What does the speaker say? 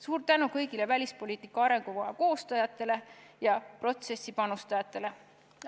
Suur tänu kõigile välispoliitika arengukava koostajatele ja protsessi panustajatele!